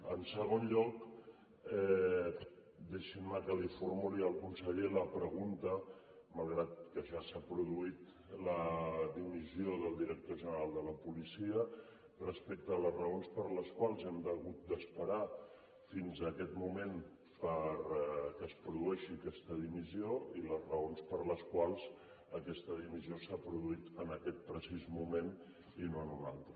en segon lloc deixin me que li formuli al conseller la pregunta malgrat que ja s’ha produït la dimissió del director general de la policia respecte a les raons per les quals hem hagut d’esperar fins a aquest moment perquè es produeixi aquesta dimissió i les raons per les quals aquesta dimissió s’ha produït en aquest precís moment i no en un altre